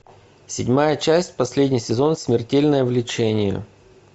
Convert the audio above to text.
седьмая часть последний сезон смертельное влечение